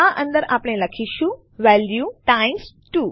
આ અંદર આપણે લખીશું વેલ્યુ ટાઇમ્સ 2